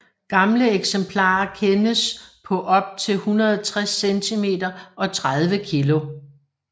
Gamle eksemplarer kendes på op til 160 cm og 30 kg